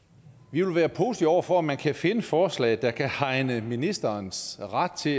vi vil være positive over for at man kan finde forslag der kan hegne ministerens ret til